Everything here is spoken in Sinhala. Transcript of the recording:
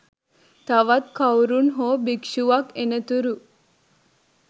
තවත් කවුරුන් හෝ භික්ෂුවක් එනතුරු